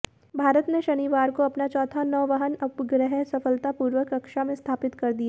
भारत ने शनिवार को अपना चौथा नौवहन उपग्रह सफलतापूर्वक कक्षा में स्थापित कर दिया